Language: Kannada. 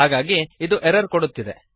ಹಾಗಾಗಿ ಇದು ಎರರ್ ಕೊಡುತ್ತಿದೆ